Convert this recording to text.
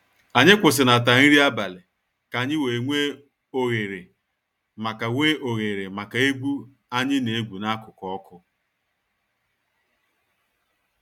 Anyị kwusinata nri abalị ka anyị wee nwe oghere maka nwe oghere maka egwu anyị na egwu n'akụkụ ọkụ.6